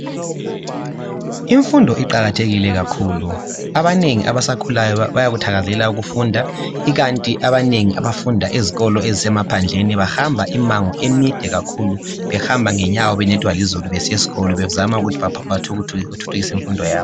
Imfundo iqakathekile kakhulu abanengi abasakhulayo bayakuthakazelela ukufunda ikanti abanengi abafunda ezikolo ezisemaphandleni bahamba imimango emide kakhulu behamba ngenyawo benethwa lizulu besiya esikolo bezama ukuthi baphakamise imfundo yabo.